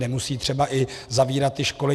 Nemusí třeba i zavírat ty školy.